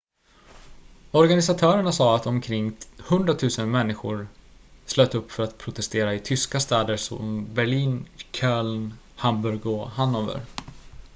organisatörerna sade att omkring 100 000 människor slöt upp för att protestera i tyska städer som berlin köln hamburg och hannover